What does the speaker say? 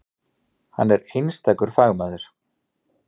Hann er einstakur fagmaður.